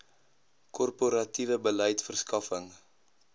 korporatiewe beleid verskaffing